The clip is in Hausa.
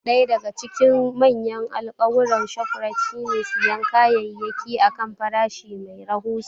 Ɗaya daga cikin manyan alkawuran Shoprite shine siyan kayayyaki a kan farashi mai rahusa.